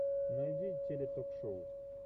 найди теле ток шоу